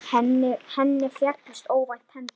Henni féllust óvænt hendur.